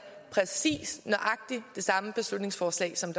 præcis nøjagtig det samme beslutningsforslag som